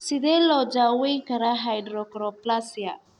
Sidee loo daweyn karaa hypochondroplasia?